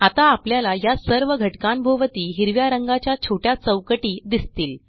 आता आपल्याला या सर्व घटकांभोवती हिरव्या रंगाच्या छोट्या चौकटी दिसतील